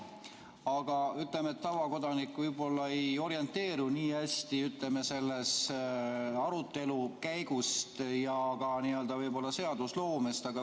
Aga tavakodanik võib-olla ei orienteeru nii hästi selle arutelu käigus ja ka seadusloomes.